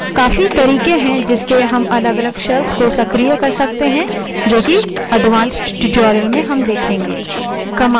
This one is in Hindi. काफी तरीके हैं जिससे हम अलगअलग shells को सक्रिय कर सकते हैं जो कि advanced tutorials में देखेंगे